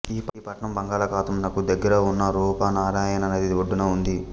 ఈ పట్టణం బంగాళాఖాతం నకు దగ్గరగా ఉన్న రుప్నారాయణ నది ఒడ్డున ఉంది